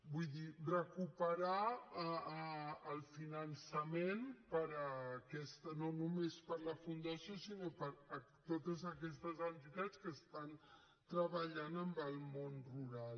vull dir recuperar el finançament no només per a la fundació sinó per a totes aquestes entitats que estan treballant amb el món rural